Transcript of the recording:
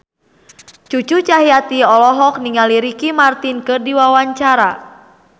Cucu Cahyati olohok ningali Ricky Martin keur diwawancara